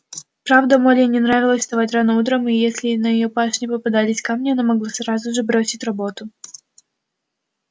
правда молли не нравилось вставать рано утром и если на её пашне попадались камни она могла сразу же бросить работу